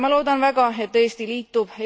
Ma loodan väga, et Eesti liitub